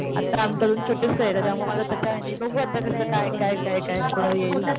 आता आमचं अजून छोटस त्याच्यामुळे त्याच्याह्याणी बघू आता कस काय काय काय पुढं येईल.